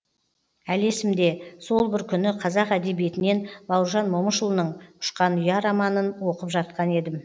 әлі есімде сол бір күні қазақ әдебиетінен бауыржан момышұлының ұшқан ұя романын оқып жатқан едім